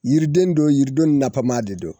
Yiriden don yiriden nafama de don